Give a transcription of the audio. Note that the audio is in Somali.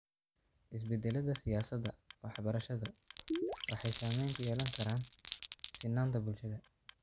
Isbeddellada siyaasadda waxbarashadu waxay saamayn ku yeelan karaan sinnaanta bulshada.